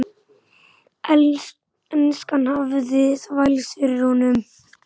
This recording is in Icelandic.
Enskan hafði þvælst fyrir honum.